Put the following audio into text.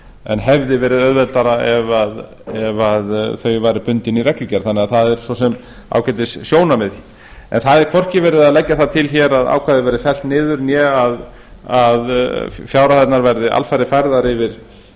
en hefði verið auðveldara ef þau væru bundin í reglugerð þannig að það er svo sem ágætissjónarmið en það er hvorki verið að leggja það til að ákvæðið verði fellt niður né að fjárhæðirnar verði alfarið færðar yfir